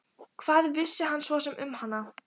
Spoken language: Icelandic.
Hvað vissi hann svo sem um hana?